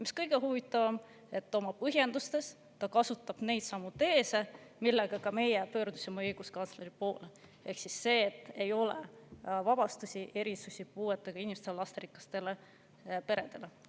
Mis kõige huvitavam, oma põhjendustes kasutab ta neidsamu teese, millega meie pöördusime õiguskantsleri poole, ehk siis, et ei ole vabastusi ega erisusi puuetega inimestele ega lasterikastele peredele.